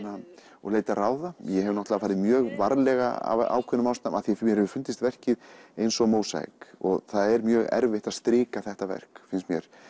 og leitað ráða ég hef farið mjög varlega af ákveðnum ástæðum af mér því mér hefur fundist verkið eins og mósaík það er mjög erfitt að strika þetta verk finnst mér